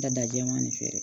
Dada jɛman de feere